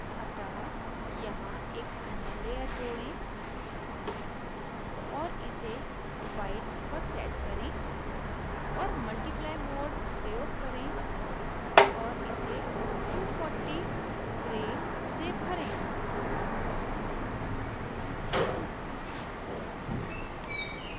अतः यहाँ एक अन्य layer mode और इसे white पर set करें और multiply mode प्रयोग करें और इसे 240 grey से भरें